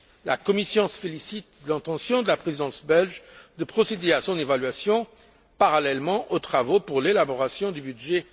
La Commission se félicite de l'intention de la présidence belge de procéder à son évaluation, parallèlement aux travaux en vue de l'élaboration du budget